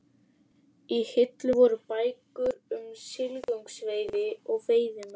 Í hillum voru bækur um silungsveiði og veiðimenn.